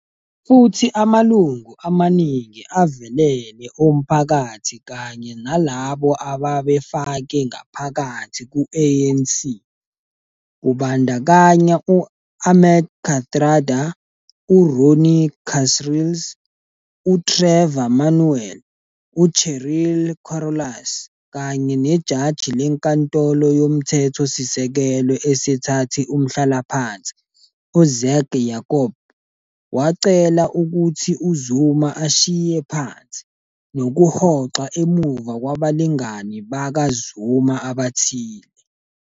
Futhi amalungu amaningi avelele omphakathi kanye nalabo ababefake ngaphakathi ku-ANC, kubandakanya u-Ahmed Kathrada, uRonnie Kasrils, uTrevor Manuel, uCheryl Carolus kanye nejaji leNkantolo yoMthethosisekelo esethathe umhlalaphansi, uZak Yacoob, wacela ukuthi uZuma ashiye phansi, nokuhoxa emuva kwabalingani bakaZuma abathile.